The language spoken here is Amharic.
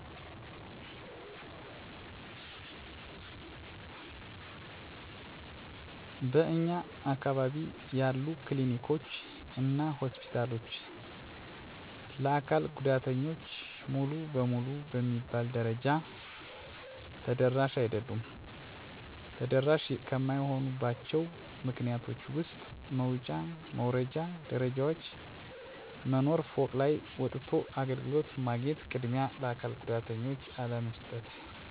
በእኛ አካባቢ ያሉ ክሊኒኮች እና ሆስፒታሎች ለአካል ጉዳተኞች ሙሉ በሙሉ በሚባል ደረጃ ተደራሽ አይደሉም። ተደራሽ ከማይሆኑባቸው ምክንያቶች ውስጥ መውጫ መውረጃ ደረጃዎች መኖር፤ ፎቅ ላይ ወጥቶ አገልግሎት ማግኘት፤ ቅድሚያ ለአካል ጉዳተኞች አለመስጠት፤ መስማት ለተሳናቸው አስተርጓሚ አለመኖር፤ መንቀሳቀስ ለማይችሉት ጉዳተኞች እረዳት አለመኖር። ስለዚህ ተደራሽ እንዲሆኑ ሁሎቹም የህክምና ተቋማት ሲገነቡ ግራውንድ ወለል ላይ ብቻ ቢሰሩ፤ ቅድሚያ ለአካል ጉዳተኛ ቢሰጥ፤ አስተርጓሚ ቢቀጠር፤ እረዳት ቢኖር።